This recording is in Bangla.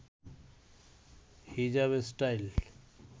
হিজাব স্টাইল